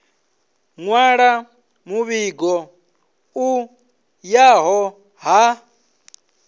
nwala muvhigo u yaho ha